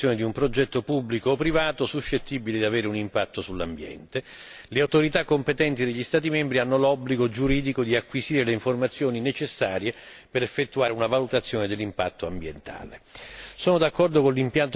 Prima di autorizzare la realizzazione di un progetto pubblico o privato suscettibile di avere un impatto sull'ambiente, le autorità competenti degli Stati membri hanno l'obbligo giuridico di acquisire le informazioni necessarie per effettuare una valutazione dell'impatto ambientale.